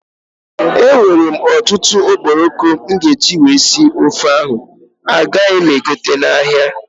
I have a lot of stockfish I will use to cook the ọgbọlọ soup and I don't still have to buy crayfish.